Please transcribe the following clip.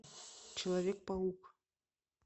человек паук